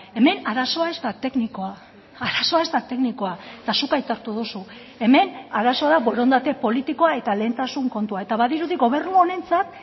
hemen arazoa ez da teknikoa arazoa ez da teknikoa eta zuk aitortu duzu hemen arazoa da borondate politikoa eta lehentasun kontua eta badirudi gobernu honentzat